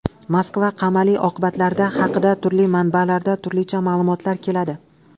Moskva qamali oqibatlari haqida turli manbalarda turlicha ma’lumotlar keladi.